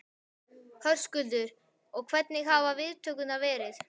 Höskuldur: Og hvernig hafa viðtökurnar verið?